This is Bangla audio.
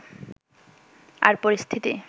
আর পরিস্থিতি